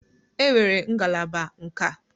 Enwere ngalaba nka.